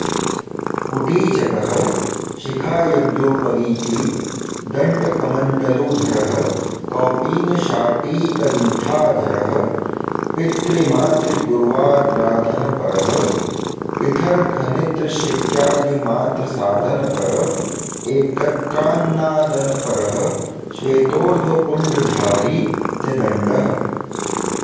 कुटीचकः शिखायज्ञोपवीति दण्डकमण्डलुधरः कौपीनशाटीकन्थाधरः पितृमातृगुर्वाराधनपरः पिठरखनित्रशिक्यादिमात्रसाधनपर एकत्रान्नादनपरः श्वेतोर्ध्वपुण्ड्रधारी त्रिदण्डः